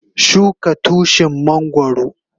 Shuka Tushin mangoro.